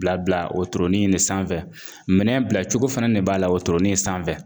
Bila bila wotoronin in de sanfɛ minɛn bila cogo fɛnɛ de b'a la o wotoronin sanfɛ